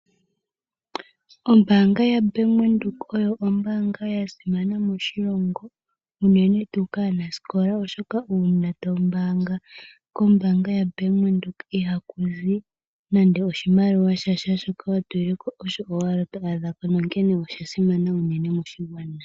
Ombaanga yaBank Windhoek oyo ombaaanga yasimana moshilongo unene tuu kaanasikola oshoka uuna tombaanga kombaanga yaBank Windhoek ihakuzi nande sha sha, shoka watulileko osho owala twaadhako. Nonkene oshasimana unene moshigwana.